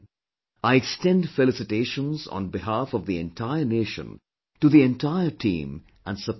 I extend felicitations on behalf of the entire nation to the entire team and support staff